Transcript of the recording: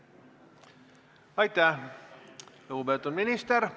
Aitäh, lugupeetud minister!